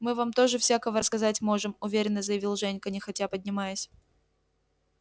мы вам тоже всякого рассказать можем уверенно заявил женька нехотя поднимаясь